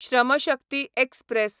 Shram Shakti express